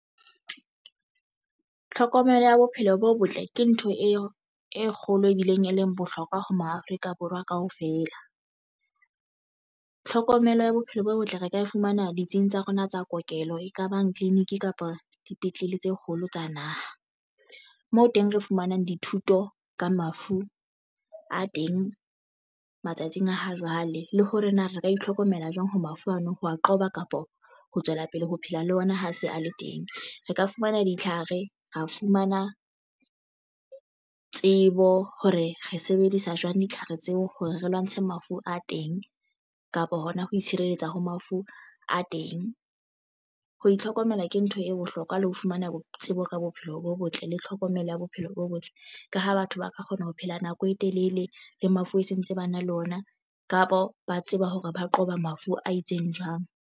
Tlhokomelo ya bophelo bo botle ke ntho e kgolo e bileng e leng bohlokwa ho ma Afrika Borwa kaofela. Tlhokomelo ya bophelo bo botle re ka e fumana ditsing tsa rona tsa kokelo ekabang clinic kapa dipetlele tse kgolo tsa naha moo teng re fumanang dithuto ka mafu a teng matsatsing a ha jwale le hore na re ka itlhokomela jwang ha mafu ano ho a qoba kapa ho tswela pele ho phela le ona ha se a le teng re ka fumana ditlhare ra fumana tsebo hore re sebedisa jwang ditlhare tseo hore re lwantshe mafu a teng kapa hona ho itshireletsa ho mafu a teng. Ho itlhokomela ke ntho e bohlokwa le ho fumana bo tsebo ka bophelo bo botle le tlhokomelo ya bophelo bo botle. Ka ha batho ba ka kgona ho phela nako e telele le mafu e sentse ba na le ona kapa ba tseba hore ba qoba mafu a itseng jwang.